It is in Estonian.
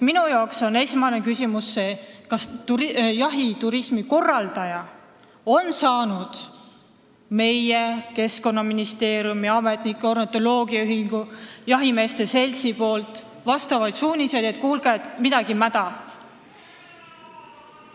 Minu esmane küsimus on see: kas jahiturismi korraldaja on saanud meie Keskkonnaministeeriumi ametnikelt, ornitoloogiaühingult ja jahimeeste seltsilt suuniseid, et kuulge, midagi on mäda?